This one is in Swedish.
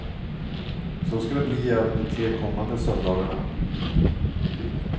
Så ska det bli även de tre kommande söndagarna.